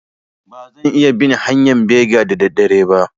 Ba zan iya bin hanƴan bega da da dare ba